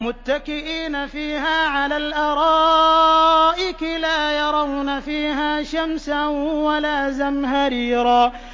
مُّتَّكِئِينَ فِيهَا عَلَى الْأَرَائِكِ ۖ لَا يَرَوْنَ فِيهَا شَمْسًا وَلَا زَمْهَرِيرًا